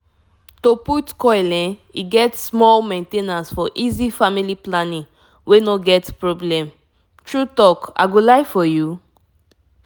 if u dey reason copper coil mattere need small main ten ance to make belle no enter for long long time.i mean am